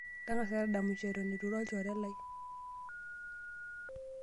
Tang'asa tadamisho eton etu iro olchore lai.